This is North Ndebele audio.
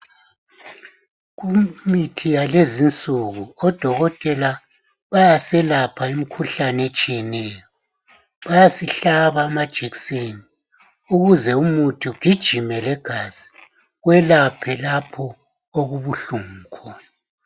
kumithi yalezinsuku odokotela bayaselapha imikhuhlane etshiyeneyo bayasihlaba amajekiseni ukuze umuthi ugijime legazi kwelaphe lapho okubuhlungu khona